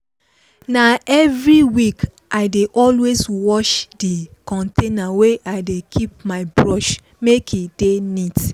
na every week i dey always wash the container wey i dey keep my brush make e dey neat.